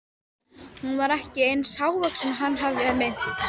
Hún var ekki eins hávaxin og hann hafði minnt.